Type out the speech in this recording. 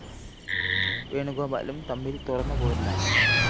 വേണുഗോപാലും തമ്മില്‍ തുറന്ന പോരിലാണ്‌